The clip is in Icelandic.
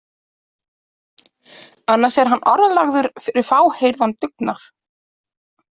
Annars er hann orðlagður fyrir fáheyrðan dugnað.